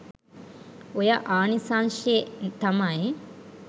ඔය ආනිසංශෙ තමයි.